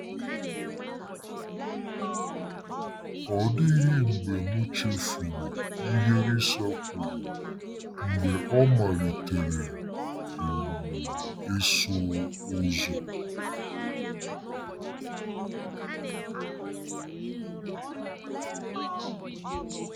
Ọ dịghị mgbe m chefuru ihe Lisa kwuru mgbe ọ malitere um ịsụ ụzọ.